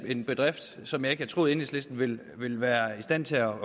en bedrift som jeg ikke havde troet enhedslisten ville være i stand til at